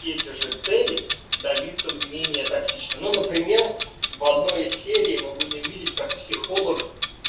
и эти же цели добиться менее токсично ну например в одной из серий мы будем видеть как психолог